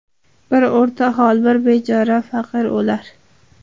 Bir o‘rtahol, bir bechora faqir o‘lar.